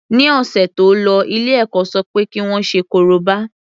Ní ọ̀sẹ̀ tó lọ ilé ẹ̀kọ́ ṣọ pé kí wọ́n ṣe korobá.